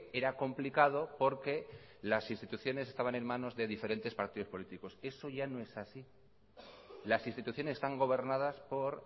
era complicado porque las instituciones estaban en manos de diferentes partidos políticos eso ya no es así las instituciones están gobernadas por